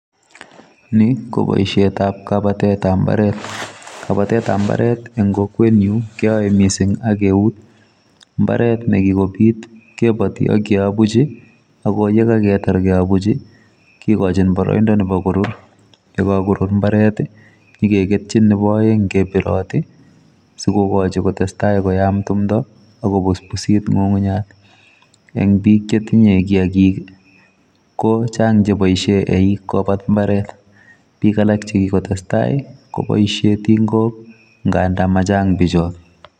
Ni, ko boisiet ab kabatet ab mbaret; kabatet ab mbaret en kokwenyun keyoe missing ak eut. Mbaret nekikobit kiboti akeobuch ako yekakotar keobuchi kigochin boroindo nebo korur, yekorur mbaret nyo keketyin nebo oeng ' kebirot sikokochi kotestai koyam tumdo ako busbusit ng'ung'unyat. En biik chetinye kiagik, ko chang' cheboisien eik kobat mbaret, biik alak chekikotestai kobaisien tingok ngandan machang' bichoton.